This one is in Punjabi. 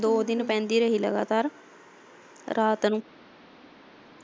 ਦੋ ਦਿਨ ਪੈਂਦੀ ਰਹੀ ਲਗਾਤਾਰ ਰਾਤ ਨੂੰ।